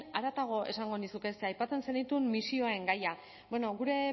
haratago esango nizuke ze aipatzen zenituen misioen gaia bueno gure